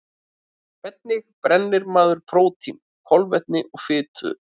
Hvernig brennir maður prótíni, kolvetni og fitu?